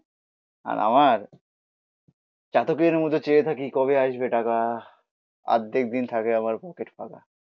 আর আমার চাতকের মতো চেয়ে থাকি কবে আসবে টাকা? আর্ধেক দিন থাকে আমার পকেট ফাঁকা.